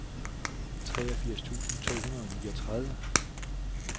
treogfirs tusind to hundrede og niogtredive